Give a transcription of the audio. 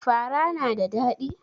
Fara na da ɗadi?